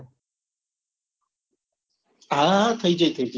હા થઇ જશે